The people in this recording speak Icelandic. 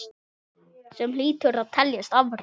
Sem hlýtur að teljast afrek.